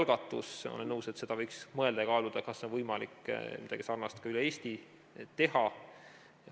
Ma olen nõus, et võiks mõelda ja kaaluda, kas on võimalik midagi sarnast üle Eesti teha.